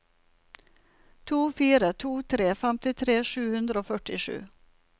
to fire to tre femtitre sju hundre og førtisju